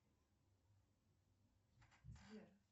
сбер